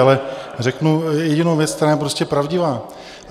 Ale řeknu jedinou věc, která je prostě pravdivá.